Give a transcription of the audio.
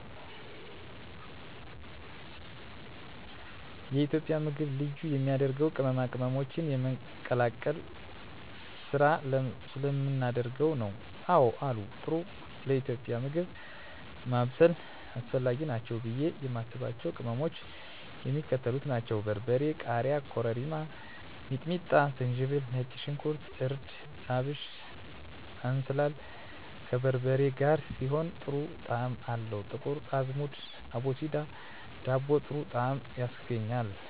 የኢትዮጵያ ምግብ ልዩ የሚያደርገው ቅመማ ቅመሞችን የመቀላቀል ስራ ስለምናደርግ ነው። *አወ አሉ፦ ጥሩ ለኢትዮጵያዊ ምግብ ማብሰል አስፈላጊ ናቸው ብዬ የማስባቸው ቅመሞች የሚከተሉት ናቸው: * በርበሬ *ቃሪያ * ኮረሪማ * ሚጥሚጣ * ዝንጅብል * ነጭ ሽንኩርት * እርድ * አብሽ *እንስላል፦ ከበርበሬ ጋር ሲሆን ጥሩ ጣዕም አለው *ጥቁር አዝሙድ(አቦስዳ)ለዳቦ ጥሩ ጣዕም ያስገኛል።